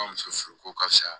Ka muso furu ko ka fisa